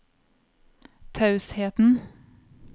tausheten